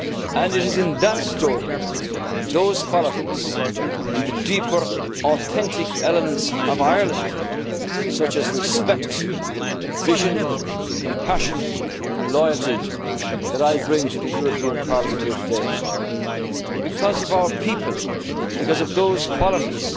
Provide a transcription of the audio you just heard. dignity. And it is in that story, those qualities and the deeper authentic elements of Ireland such as respect, and vision and compassion, and loyalty that I bring to the European Parliament today. And because of our people, and because of those